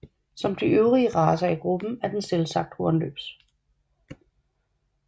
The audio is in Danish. Som de øvrige racer i gruppen er den selvsagt hornløs